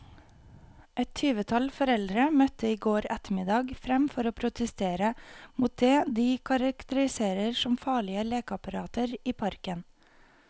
Et tyvetall foreldre møtte i går ettermiddag frem for å protestere mot det de karakteriserer som farlige lekeapparater i parken.